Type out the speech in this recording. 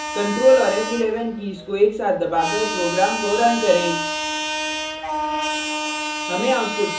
control और f11 keys को एक साथ दबाकर program को run करें